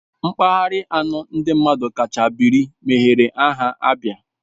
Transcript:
Mpaghara anọ ndị mmadụ kacha biri mebere aha ABIA